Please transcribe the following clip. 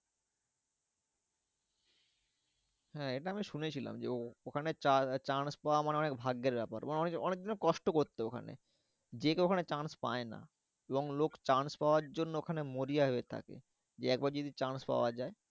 হ্যাঁ এটা আমি শুনেছিলাম যে ও ওখানে chance পাওয়া মানে অনেক ভাগ্যের ব্যাপার। অনেক কিন্তু কষ্ট করতো ওখানে। যে কেউ ওখানে chance পায় না এবং লোক chance পাওয়ার জন্য ওখানে মরিয়া হয়ে থাকে। একবার যদি chance পাওয়া যায়।